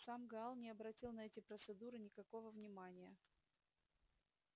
сам гаал не обратил на эти процедуры никакого внимания